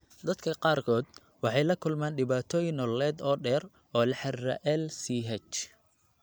Dadka qaarkood waxay la kulmaan dhibaatooyin nololeed oo dheer oo la xidhiidha LCH.